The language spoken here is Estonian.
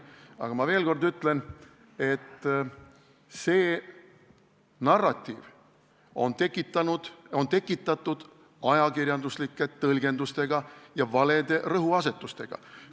Aga ma veel kord ütlen, et see narratiiv on tekitatud ajakirjanduslike tõlgendustega ja valede rõhuasetustega.